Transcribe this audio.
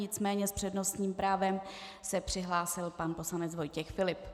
Nicméně s přednostním právem se přihlásil pan poslanec Vojtěch Filip.